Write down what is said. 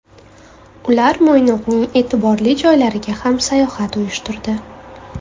Ular Mo‘ynoqning e’tiborli joylariga ham sayohat uyushtirdi.